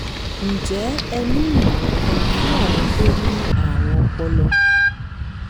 ǹjẹ́ ẹ ní ìmọ̀ràn kan fún àwọn tó ní àrùn ọpọlọ?